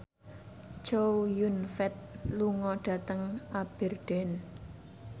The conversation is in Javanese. Chow Yun Fat lunga dhateng Aberdeen